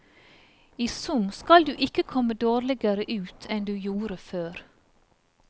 I sum skal du ikke komme dårligere ut enn du gjorde før.